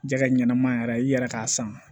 Jɛgɛ ɲɛnɛma yɛrɛ i yɛrɛ k'a san